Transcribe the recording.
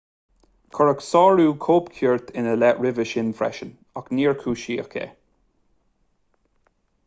cuireadh sárú cóipchirt ina leith roimhe sin freisin ach níor cúisíodh é